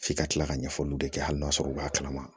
F'i ka kila ka ɲɛfɔli kɛ hali n'a sɔrɔ u b'a kalama